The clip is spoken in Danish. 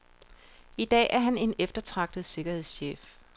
I dag er han en eftertragtet sikkerhedschef.